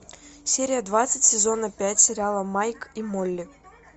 серия двадцать сезона пять сериала майк и молли